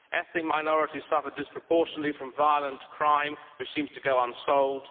ethnic minorities suffer disproportionately from violent crime, which seems to go unsolved